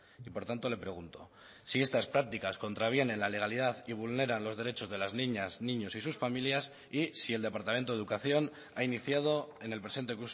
y por tanto le pregunto si estas prácticas contravienen la legalidad y vulneran los derechos de las niñas niños y sus familias y si el departamento de educación ha iniciado en el presente